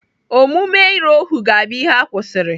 Omume ire ohuu ga-abụ ihe a kwụsịrị.